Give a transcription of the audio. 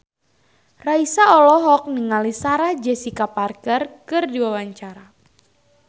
Raisa olohok ningali Sarah Jessica Parker keur diwawancara